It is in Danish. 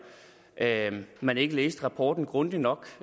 at man ikke læste rapporten grundigt nok